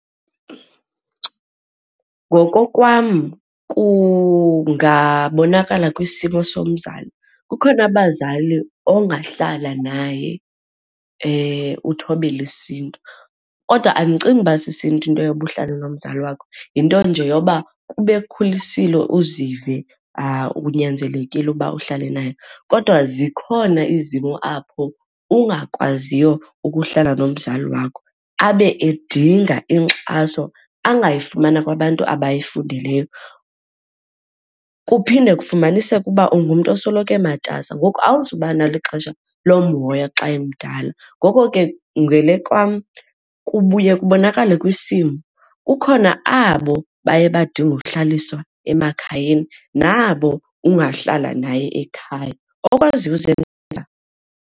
Ngokokwam kungabonakala kwisimo somzali. Kukhona abazali ongahlala naye uthobele isiNtu, kodwa andicingi uba sisiNtu into yoba uhlale nomzali wakho yinto nje yoba kuba ekhulisile uzive unyanzelekile uba uhlale naye. Kodwa zikhona izimo apho ungakwaziyo ukuhlala nomzali wakho abe edinga inkxaso angayifumana kwabantu abayifundeleyo. Kuphinde kufumaniseke uba ungumntu osoloko ematasa ngoku awuzuba nalo ixesha lomhoya xa emdala. Ngoko ke ngele kwam kubuye kubonakale kwisimo, kukhona abo baye badinge uhlaliswa emakhayeni nabo ungahlala naye ekhaya okwaziyo usebenza.